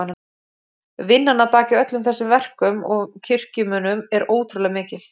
Vinnan að baki öllum þessum verkum og kirkjumunum er ótrúlega mikil.